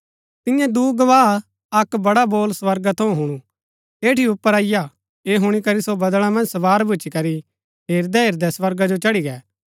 तिन्यै दूँ गवाह अक्क बड़ा बोल स्वर्गा थऊँ हुणु ऐठी ऊपर अईआ ऐह हुणी करी सो बदळा मन्ज सवार भूच्ची करी हेरदै हेरदै स्वर्गा जो चढ़ी गै